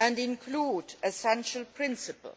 and includes essential principles